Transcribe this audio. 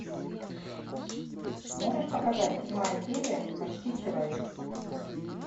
можешь показать седьмая серия почти человек